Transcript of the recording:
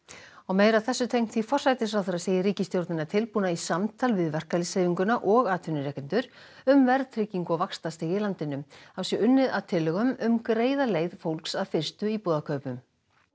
forsætisráðherra segir ríkisstjórnina tilbúna í samtal við verkalýðshreyfinguna og atvinnurekendur um verðtryggingu og vaxtastig í landinu þá sé unnið að tillögum um að greiða leið fólks að fyrstu íbúðakaupum